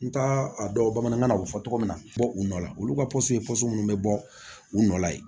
N t'a a dɔn bamanankan na u bɛ fɔ togo min na bɔ u nɔ la olu ka posɔn minnu be bɔ u nɔ la yen